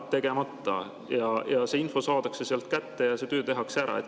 Tegemata!" ja see info saadakse sealt kätte ja see töö tehakse ära.